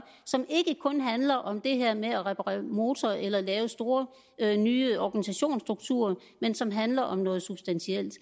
som ikke kun handler om det her med at reparere motor eller lave store nye organisationsstrukturer men som handler om noget substantielt